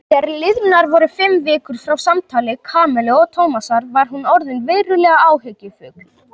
Þegar liðnar voru fimm vikur frá samtali Kamillu og Tómasar var hún orðin verulega áhyggjufull.